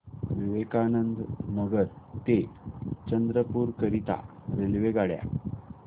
विवेकानंद नगर ते चंद्रपूर करीता रेल्वेगाड्या